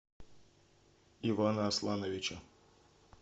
ивана аслановича